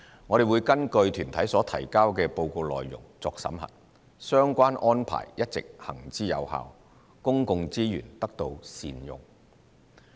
我們會根據團體所提交的報告內容作審核，相關安排一直行之有效，公共資源得到善用。